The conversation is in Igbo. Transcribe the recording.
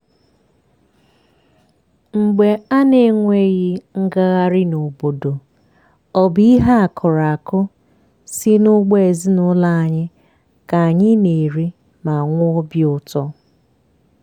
mgbe a na-enweghi ngagharị n'obodo ọ bụ ihe akụrụ akụ si n'ugbo ezinụlọ anyị ka anyị na-eri ma nwee obi ụtọ.